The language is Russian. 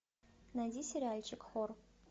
найди сериальчик хор